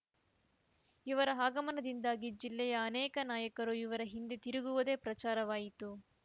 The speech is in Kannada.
ಇವರ ಆಗಮನದಿಂದಾಗಿ ಜಿಲ್ಲೆಯ ಅನೇಕ ನಾಯಕರು ಇವರ ಹಿಂದೆ ತಿರುಗುವುದೇ ಪ್ರಚಾರವಾಯಿತು